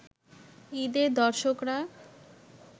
ঈদে দর্শকরা